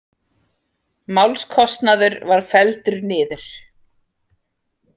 Málskostnaður var felldur niður